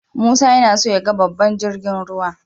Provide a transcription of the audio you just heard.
Musa yana so yaga babban jirgin ruwa.